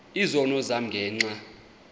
izono zam ngenxa